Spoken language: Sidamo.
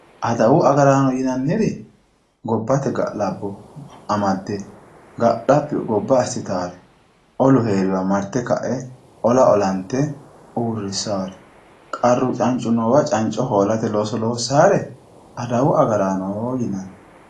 adawu agaraano yinanniri gobbate ga'labbo amadde gobba ga'labbi assitannore olu heeriwa marte ola olante uurrissaare qarru cancu noowa canco hoolate looso loossaare adawu agaraano yinanni.